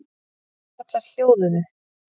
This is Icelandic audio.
Konur og karlar hljóðuðu.